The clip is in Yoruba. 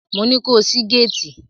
Mo ní ko ṣí géétì!